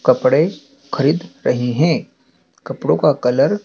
कपड़े खरीद रहे हैं। कपड़ों का कलर --